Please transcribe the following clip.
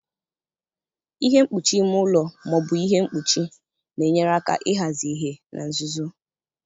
Ihe mkpuchi ime ụlọ ma ọ bụ ihe mkpuchi na-enyere aka ịhazi ìhè na nzuzo.